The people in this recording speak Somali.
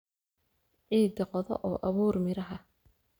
Ciidda qodo oo abuur miraha